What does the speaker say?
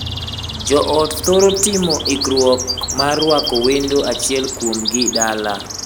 Joot thoro timo ikruok mar ruako wendo achiel kuomgi dala.